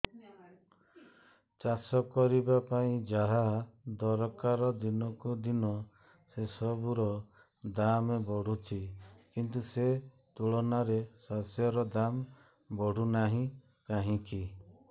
ଚାଷ କରିବା ପାଇଁ ଯାହା ଦରକାର ଦିନକୁ ଦିନ ସେସବୁ ର ଦାମ୍ ବଢୁଛି କିନ୍ତୁ ସେ ତୁଳନାରେ ଶସ୍ୟର ଦାମ୍ ବଢୁନାହିଁ କାହିଁକି